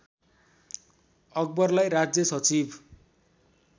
अकबरलाई राज्य सचिव